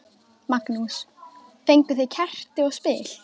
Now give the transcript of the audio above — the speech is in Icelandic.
Magnús: Fenguð þið kerti og spil?